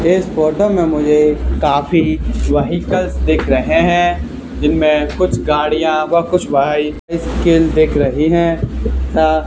इस फोटो में मुझे काफी व्हीकल दिख रहे हैं जिनमें कुछ गाड़ियां व कुछ बाइ सिकल दिख रही है तथा --